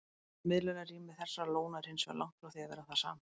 Svonefnt miðlunarrými þessara lóna er hins vegar langt frá því að vera það sama.